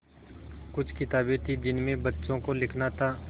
कुछ किताबें थीं जिनमें बच्चों को लिखना था